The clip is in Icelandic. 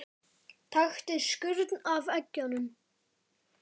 Taktu skurn af eggjum.